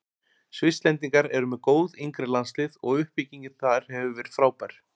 Svisslendingar eru með góð yngri landslið og uppbyggingin þar hefur verið frábær.